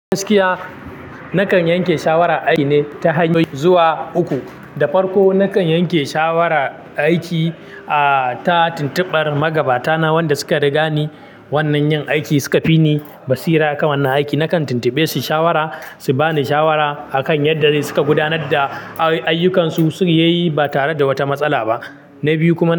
Gaskiya nakan yanke shawara aiki ne ta hanyoyi zuwa uku. Da farko nakan yanke shawara aiki ah ta tuntuɓar magabata na wanda suka riga ni wannan yin aikin. Suka fi ni basira kan wannan aiki. Nakan tuntuɓe su shawara, su bani shawara akan yanda suka gudanar da ayyukan su ya yi ba tare da wata matsala ba. Na biyu kuma.